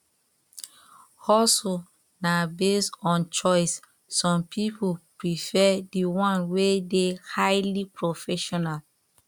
hustle na based on choice some pipo prefer di one wey de highly professional